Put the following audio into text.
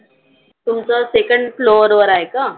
तुमच second floor वर आहे का?